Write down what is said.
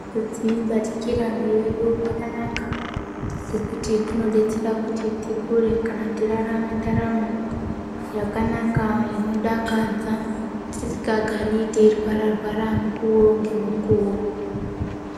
Kudzibatikira mwiri yedu kwakanaka ngekuti kunotidetsera kuti tikure kana tirarame ndaramo yakanaka inodakadza tisigari teirwara rwara mukuwo ngemukuwo.